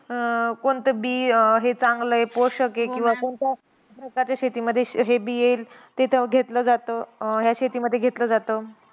अं कोणतं बी हे चांगलंय, पोषक आहे, किंवा कोणत्या प्रकारच्या शेतीमध्ये हे बी येईल तिथ घेतलं जातं, ह्या शेतीमध्ये घेतलं जातं.